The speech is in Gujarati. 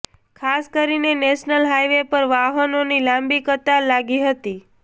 ખાસ કરીને નેશનલ હાઈવે પર વાહનોની લાંબી કતાર લાગી હતી